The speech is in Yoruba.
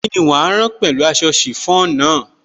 Kíni wàá rán pẹ̀lú aṣọ chiffon náà?